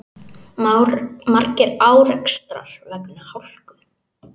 Margir árekstrar vegna hálku